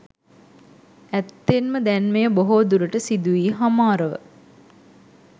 ඇත්තෙන්ම දැන් මෙය බොහෝ දුරට සිදුවී හමාරව